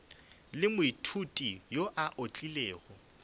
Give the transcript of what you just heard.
le moithuti yo a otlilego